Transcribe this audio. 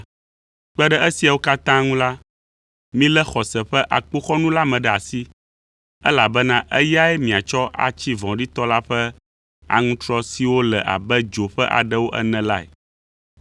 Kpe ɖe esiawo katã ŋu la, milé xɔse ƒe akpoxɔnu la ɖe asi, elabena eyae miatsɔ atsi vɔ̃ɖitɔ la ƒe aŋutrɔ siwo le abe dzo ƒe aɖewo ene lae.